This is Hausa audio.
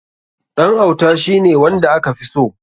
Ɗan auta shi ne wanda aka fi so.